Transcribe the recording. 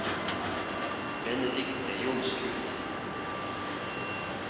Benedikte Johnsrud